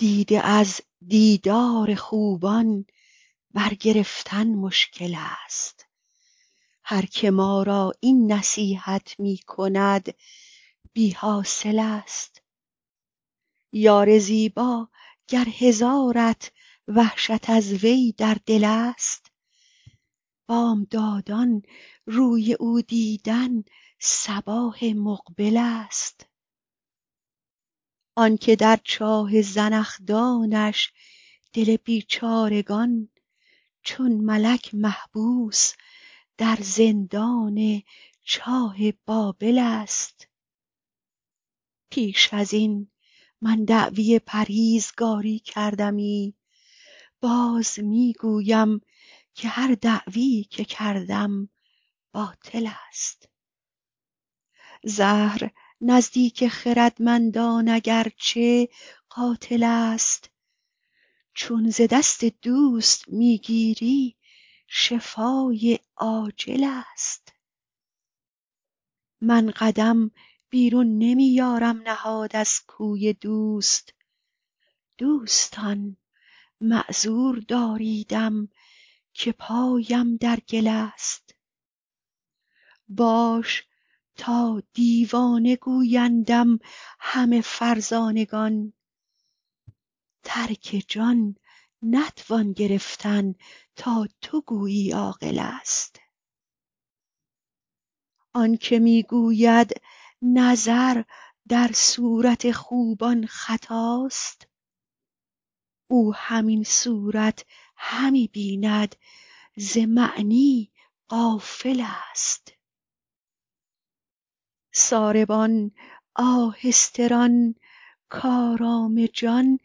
دیده از دیدار خوبان برگرفتن مشکل ست هر که ما را این نصیحت می کند بی حاصل ست یار زیبا گر هزارت وحشت از وی در دل ست بامدادان روی او دیدن صباح مقبل ست آن که در چاه زنخدانش دل بیچارگان چون ملک محبوس در زندان چاه بابل ست پیش از این من دعوی پرهیزگاری کردمی باز می گویم که هر دعوی که کردم باطل ست زهر نزدیک خردمندان اگر چه قاتل ست چون ز دست دوست می گیری شفای عاجل ست من قدم بیرون نمی یارم نهاد از کوی دوست دوستان معذور داریدم که پایم در گل ست باش تا دیوانه گویندم همه فرزانگان ترک جان نتوان گرفتن تا تو گویی عاقل ست آن که می گوید نظر در صورت خوبان خطاست او همین صورت همی بیند ز معنی غافل ست ساربان آهسته ران کآرام جان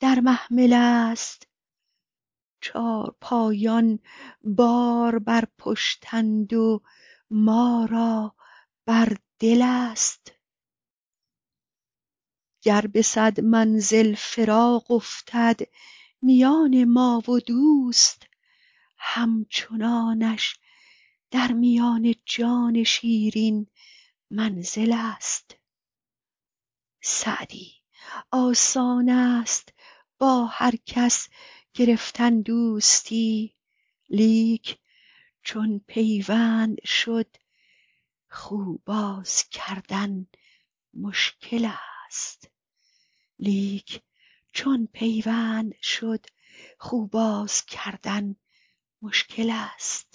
در محمل ست چارپایان بار بر پشتند و ما را بر دل ست گر به صد منزل فراق افتد میان ما و دوست همچنانش در میان جان شیرین منزل ست سعدی آسان ست با هر کس گرفتن دوستی لیک چون پیوند شد خو باز کردن مشکل ست